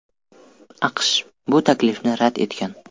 AQSh bu taklifni rad etgan.